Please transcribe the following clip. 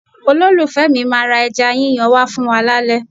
Olólùfẹ́ mi máa ra ẹja yíyan wá fún wa lálẹ́.